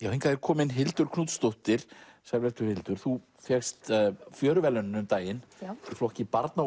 hingað er komin Hildur Knútsdóttir sæl vertu Hildur þú fékkst um daginn í flokki barna og